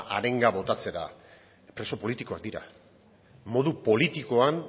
arenga botatzera preso politikoak dira modu politikoan